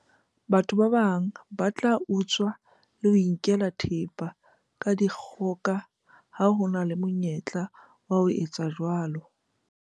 batho ba bang ba tla utswa le ho inkela thepa ka dikgoka ha ho na le monyetla wa ho etsa jwalo